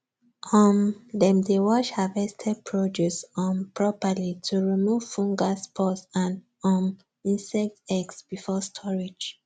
um dem dey wash harvested produce um properly to remove fungal spores and um insect eggs before storage